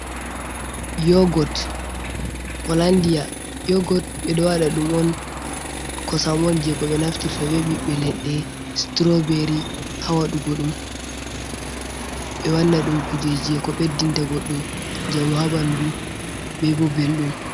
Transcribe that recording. Holandia yogot ɓeɗo waɗa ɗum on. Kosam on je ɓeɗo naftirta be ɓiɓɓe leɗɗe strawbery ha waɗugo ɗum ɓe wanna ɗum kuje je ko ɓeddinta goɗɗo njamu habandu be bo belɗum.